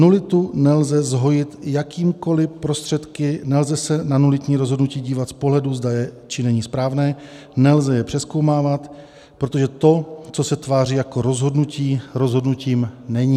Nulitu nelze zhojit jakýmikoli prostředky, nelze se na nulitní rozhodnutí dívat z pohledu, zda je, či není správné, nelze je přezkoumávat, protože to, co se tváří jako rozhodnutí, rozhodnutím není.